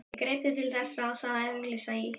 Ég greip því til þess ráðs að auglýsa í